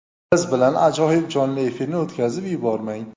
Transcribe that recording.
Biz bilan ajoyib jonli efirni o‘tkazib yubormang.